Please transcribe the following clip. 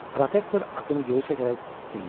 Protektor atını geri çəkərək inlədi: